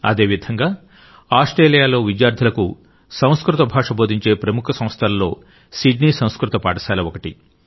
అదేవిధంగా ఆస్ట్రేలియాలో విద్యార్థులకు సంస్కృత భాష బోధించే ప్రముఖ సంస్థలలో సిడ్నీ సంస్కృత పాఠశాల ఒకటి